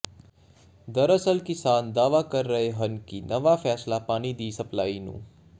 ਦਰਅਸਲ ਕਿਸਾਨ ਦਾਅਵਾ ਕਰ ਰਹੇ ਹਨ ਕਿ ਨਵਾਂ ਫੈਸਲਾ ਪਾਣੀ ਦੀ ਸਪਲਾਈ ਨੂੰ